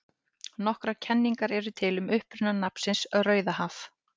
Nokkrar kenningar eru til um uppruna nafnsins Rauðahaf.